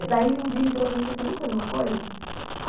Um ele dia ele virou para mim e falou assim, vamos fazer uma coisa?